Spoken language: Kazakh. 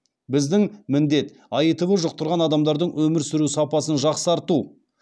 біздің міндет аитв жұқтырған адамдардың өмір сүру сапасын жақсарту